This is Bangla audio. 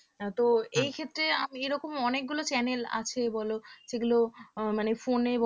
তো এই ক্ষেত্রে আমি এরকম অনেকগুলো channel আছে বলো সেগুলো মানে phone এ